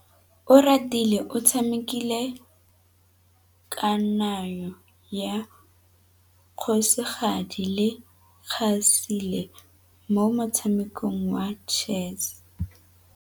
Oratile o tshamekile kananyô ya kgosigadi le khasêlê mo motshamekong wa chess.